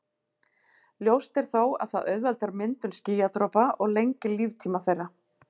Ljóst er þó að það auðveldar myndun skýjadropa og lengir líftíma þeirra.